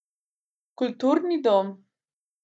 Kulturni dom.